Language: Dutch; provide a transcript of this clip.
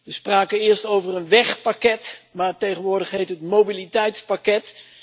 We spraken eerst over een wegpakket, maar tegenwoordig heet het mobiliteitspakket.